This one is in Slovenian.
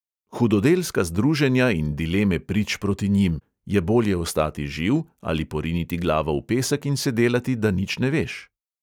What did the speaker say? Hudodelska združenja in dileme prič proti njim: je bolje ostati živ ali poriniti glavo v pesek in se delati, da nič ne veš?